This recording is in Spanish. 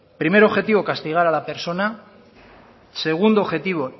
primer objetivo castigar a la persona segundo objetivo